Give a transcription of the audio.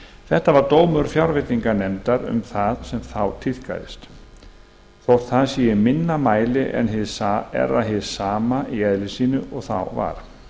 þetta var dómur fjárveitinganefndar um það sem þá tíðkaðist þótt það sé í minna mæli er það hið sama í eðli sínu og þá var